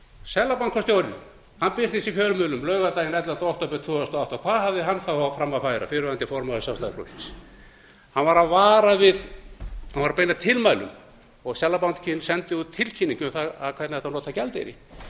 seðlabankastjórinn birtist í fjölmiðlum laugardaginn ellefta október tvö þúsund og átta hvað hafði hann þá fram að færa fyrrverandi formaður sjálfstæðisflokksins hann var að beina tilmælum og seðlabankinn sendi út tilkynningu um það hvernig ætti að nota gjaldeyri